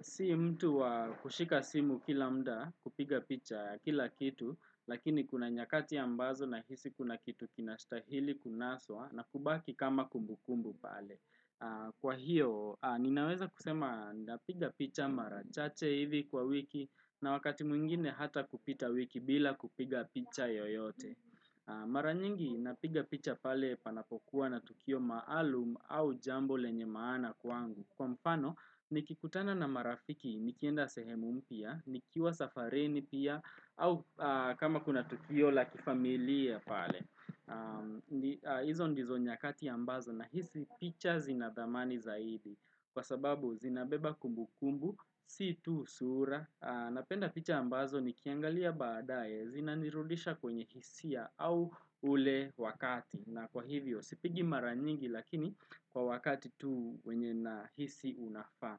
Si mtu wa kushika simu kila muda kupiga picha kila kitu, lakini kuna nyakati ambazo nahisi kuna kitu kinastahili kunaswa na kubaki kama kumbukumbu pale. Kwa hiyo, ninaweza kusema napiga picha mara chache hivi kwa wiki na wakati mwingine hata kupita wiki bila kupiga picha yoyote Maranyingi napiga picha pale panapokuwa na tukio maalum au jambo lenye maana kwangu Kwa mfano, nikikutana na marafiki, nikienda sehemu mpya, nikiwa safarini pia, au kama kuna tukio la kifamilia pale hizo ndizo nyakati ambazo nahisi picha zinadhamani zaidi Kwa sababu zinabeba kumbu kumbu, si tu sura. Napenda picha ambazo nikiangalia baadae Zinanirudisha kwenye hisia au ule wakati na kwa hivyo sipigi mara nyingi lakini kwa wakati tu wenye nahisi unafaa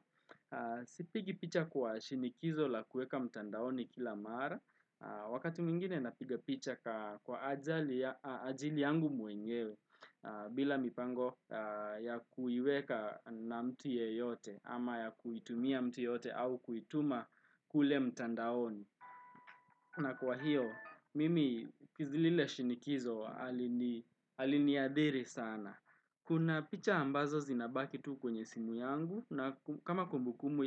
Sipigi picha kwa shinikizo la kuweka mtandaoni kila mara Wakati mwingine napiga picha kwa ajili yangu mwenyewe bila mipango ya kuiweka na mtu yeyote ama ya kuitumia mtu yote au kuituma kule mtandaoni. Na kwa hiyo, mimi zile shinikizo haliniadhiri sana. Kuna picha ambazo zinabaki tu kwenye simu yangu na kama kumbukumbu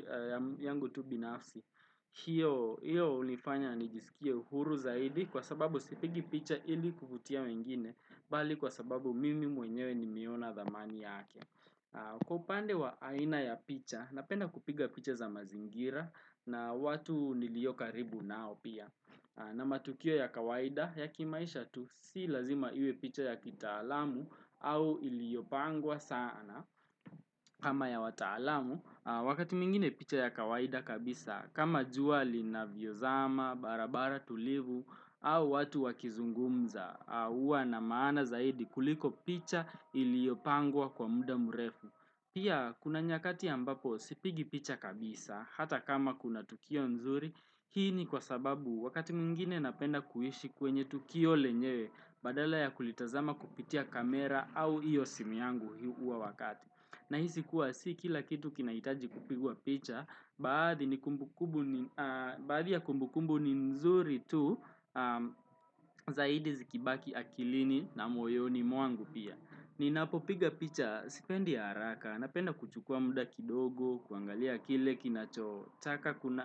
yangu tu binafsi. Hiyo hunifanya nijiisikie uhuru zaidi kwa sababu sipigi picha ili kuvutia wengine bali kwa sababu mimi mwenyewe nimeona dhamani yake. Kwa upande wa aina ya picha, napenda kupiga picha za mazingira na watu nilio karibu nao pia na matukio ya kawaida ya kimaisha tu si lazima iwe picha ya kitaalamu au iliopangwa sana kama ya wataalamu, wakati mwingine picha ya kawaida kabisa kama jua linavyozama, barabara tulivu au watu wakizungumza huwa na maana zaidi kuliko picha iliopangwa kwa muda mrefu. Pia kuna nyakati ambapo sipigi picha kabisa Hata kama kuna tukio nzuri Hii ni kwa sababu wakati mwingine napenda kuishi kwenye tukio lenyewe Badala ya kulitazama kupitia kamera au hiyo simu yangu huo wakati. Nahisi kuwa si kila kitu kinahitaji kupigwa picha Baadhi ya kumbukumbu ni nzuri tu zaidi zikibaki akilini na moyoni mwangu pia. Ninapo piga picha, sipendi ya haraka, napenda kuchukua muda kidogo, kuangalia kile,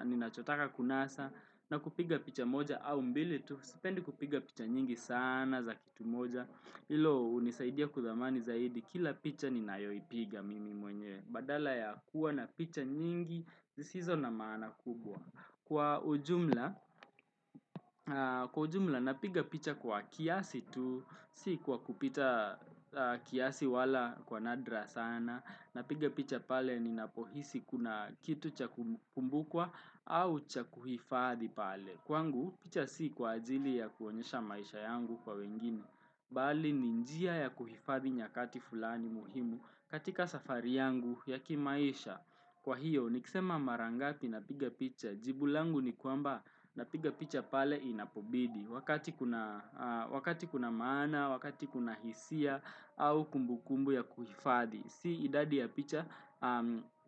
ninachotaka kunasa, na kupiga picha moja au mbili tu, sipendi kupiga picha nyingi sana za kitu moja. Hilo hunisaidia kudhamani zaidi kila picha ni nayoipiga mimi mwenyewe badala ya kuwa na picha nyingi zisizo na maana kubwa kwa ujumla napiga picha kwa kiasi tu si kwa kupita kiasi wala kwa nadra sana napiga picha pale ninapohisi kuna kitu cha kukumbukwa au cha kuhifadhi pale kwangu picha si kwa ajili ya kuonyesha maisha yangu kwa wengine bali ni njia ya kuhifadhi nyakati fulani muhimu katika safari yangu ya kimaisha kwa hiyo nikisema mara ngapi napiga picha jibu langu ni kwamba napiga picha pale inapobidi wakati kuna maana, wakati kuna hisia au kumbukumbu ya kuhifadhi si idadi ya picha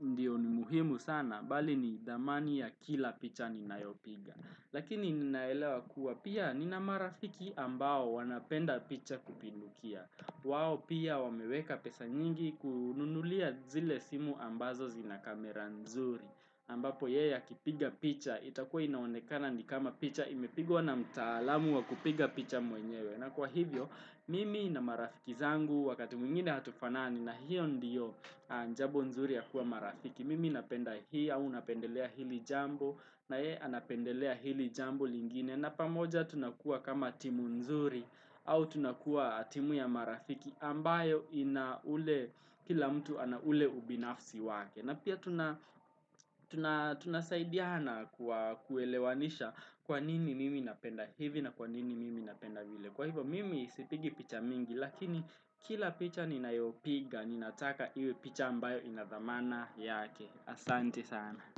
ndio ni muhimu sana bali ni thamani ya kila picha ninayopiga. Lakini ninaelewa kuwa pia nina marafiki ambao wanapenda picha kupindukia. Wao pia wameweka pesa nyingi kununulia zile simu ambazo zinakamera nzuri. Ambapo yeye akipiga picha itakuwa inaonekana ni kama picha imepigwa na mtaalamu wa kupiga picha mwenyewe. Na kwa hivyo mimi na marafiki zangu wakati mwingine hatufanani na hiyo ndiyo jambo nzuri ya kuwa marafiki. Mimi napenda hii au unapendelea hili jambo na yeye anapendelea hili jambo lingine na pamoja tunakuwa kama timu nzuri au tunakuwa timu ya marafiki ambayo ina ule kila mtu ana ule ubinafsi wake. Na pia tunasaidiana kuelewanisha kwa nini mimi napenda hivi na kwa nini mimi napenda vile Kwa hivyo mimi sipigi picha mingi lakini kila picha ninayopiga Ninataka iwe picha ambayo inadhamana yake Asante sana.